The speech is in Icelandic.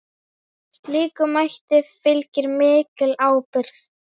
Slíkum mætti fylgir mikil ábyrgð.